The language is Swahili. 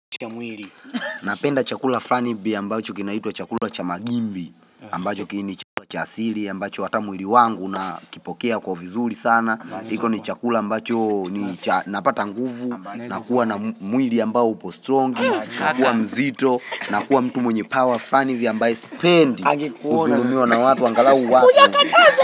Napenda chakula flani ambacho kinaitwa chakula cha magimbi ambacho ki ni chakula cha asili ambacho hata mwili wangu unakipokea kwa vizuri sana hicho ni chakula ambacho napata nguvu nakuwa na mwili ambao upo strongi nakuwa mzito nakuwa mtu mwenye power frani ivi ambayo spendi kudhulumiwa na watu angalau wa.